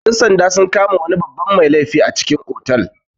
Ƴan-sanda sun kama wani babban mai laifi a cikin otal.